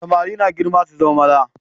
Samari na girma su zama maza.